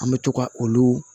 An bɛ to ka olu